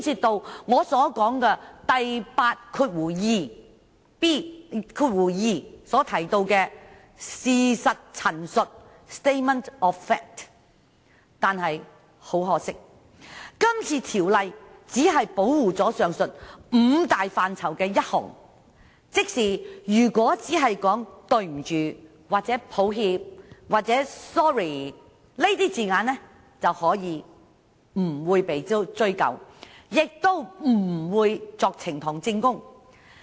第82條提到的事實陳述均涉及以上範疇，但很可惜，今次條例只保護上述五大範疇的第一項，即如果只說"對不起"、"抱歉"、"sorry" 等字眼，便不會被追究，也不會被當作呈堂證供。